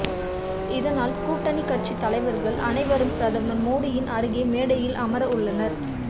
இதனால் கூட்டணி கட்சித் தலைவர்கள் அனைவரும் பிரதமர் மோடியின் அருகே மேடையில் அமர உள்ளனர்